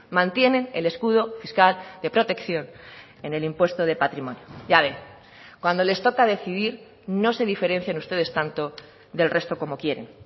mantienen el escudo fiscal de protección en el impuesto de patrimonio ya ve cuando les toca decidir no se diferencian ustedes tanto del resto como quieren